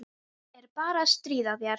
Ég er bara að stríða þér.